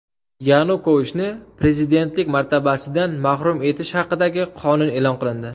Yanukovichni prezidentlik martabasidan mahrum etish haqidagi qonun e’lon qilindi.